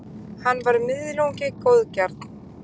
hann var „miðlungi góðgjarn